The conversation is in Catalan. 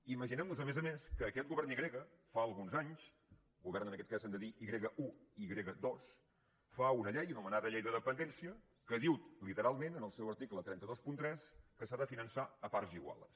imaginem nos a més a més que aquest govern i grega fa alguns anys govern en aquest cas hem de dir i grega un i i grega dos fa una llei anomenada llei de dependència que diu literalment en el seu article tres cents i vint tres que s’ha de finançar a parts iguals